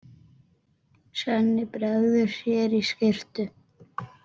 Svenni bregður sér í skyrtu.